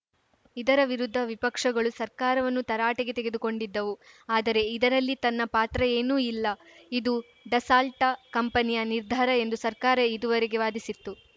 ಇದರ ವಿರುದ್ಧ ವಿಪಕ್ಷಗಳು ಸರ್ಕಾರವನ್ನು ತರಾಟೆಗೆ ತೆಗೆದುಕೊಂಡಿದ್ದವು ಆದರೆ ಇದರಲ್ಲಿ ತನ್ನ ಪಾತ್ರ ಏನೂ ಇಲ್ಲ ಇದು ಡಸಾಲ್ಟ ಕಂಪನಿಯ ನಿರ್ಧಾರ ಎಂದು ಸರ್ಕಾರ ಇದುವರೆಗೆ ವಾದಿಸಿತ್ತು